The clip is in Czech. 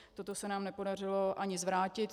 Toto se nám nepodařilo ani zvrátit.